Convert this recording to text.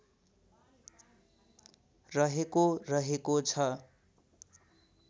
रहेको रहेको छ